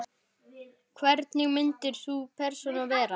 Hvernig myndi sú persóna vera?